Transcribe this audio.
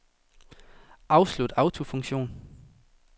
Afslut autofunktion.